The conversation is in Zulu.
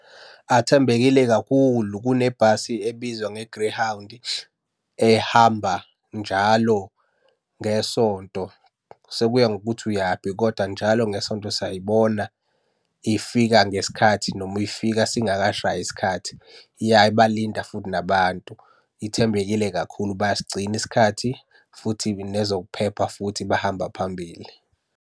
Athembekile kakhulu, kunebhasi ebizwa nge-Greyhound, ehamba njalo ngeSonto. Sekuya ngokuthi uyaphi, kodwa njalo ngeSonto siyayibona ifika ngesikhathi noma ifika singakashayi isikhathi, iyayibalinda futhi nabantu. Ithembekile kakhulu bayasigcina isikhathi futhi nezokuphepha futhi bahamba phambili.